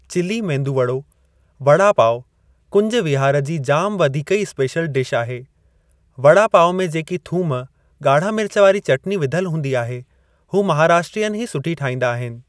Chilli medu वड़ो, वड़ा पाव कुंज विहार जी जाम वधीक ई स्पेशल डिश आहे, वड़ा पाव में जेकी थूम, ॻाढ़ा मिर्च वारी चटनी विधल हूंदी आहे हू महाराष्ट्रियन ई सुठी ठाहिंदा आहिनि।